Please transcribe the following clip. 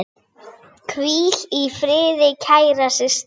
Hvíl í friði, kæra systir.